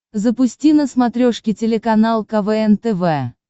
запусти на смотрешке телеканал квн тв